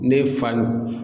Ne fa